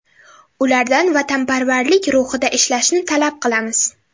Ulardan vatanparvarlik ruhida ishlashni talab qilamiz”.